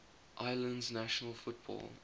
islands national football